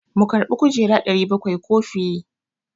Mu karbi kujera 700 ko fiye?